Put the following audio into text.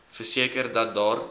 verseker dat daar